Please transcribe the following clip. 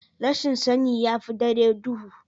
Rashin sani ya fi dare duhu.